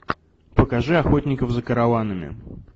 покажи охотников за караванами